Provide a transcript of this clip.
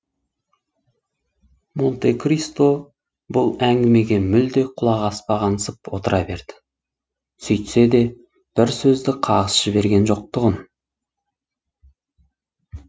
монте кристо бұл әңгімеге мүлде құлақ аспағансып отыра берді сөйтсе де бір сөзді қағыс жіберген жоқ тұғын